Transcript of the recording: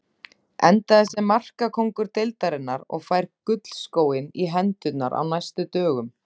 Endaði sem markakóngur deildarinnar og fær gullskóinn í hendurnar á næstu dögum.